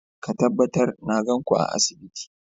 Ka tabbatar na gan ku a asibiti!